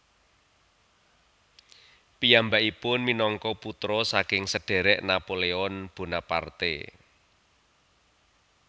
Piyambakipun minangka putra saking sedherek Napoleon Bonaparte